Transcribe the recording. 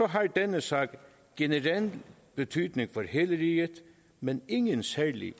har denne sag generel betydning for hele riget men ingen særlig